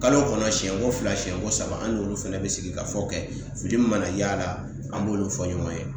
Kalo kɔnɔ siɲɛko fila, siɲɛko saba , an n'olu fɛnɛ bɛ sigikafɔ kɛ fili min mana y'a la an b'olu fɔ ɲɔgɔn ye .